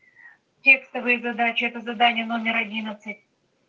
текстовые задачи это задание номер одиннадцать